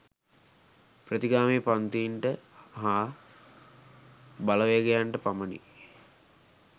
ප්‍රතිගාමී පංතීන්ට හා බලවේගයන්ට පමණි